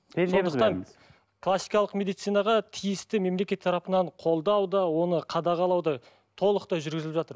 классикалық медицинаға тиісті мемлекет тарапынан қолдау да оны қадағалау да толықтай жүргізіліп жатыр